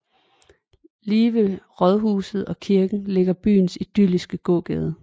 Lige ved rådhuset og kirken ligger byens idylliske gågade